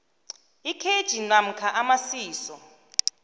ikhetjhi namkha amasiso